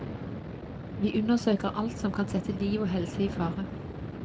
Vi undersøker alt som kan sette liv og helse i fare.